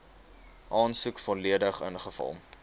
aansoek volledig ingevul